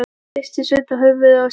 Hristi Sveinn þá höfuðið og sagði: